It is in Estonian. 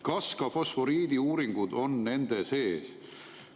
Kas ka fosforiidiuuringud on nende hulgas?